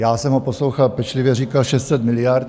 Já jsem ho poslouchal pečlivě, říkal 600 miliard.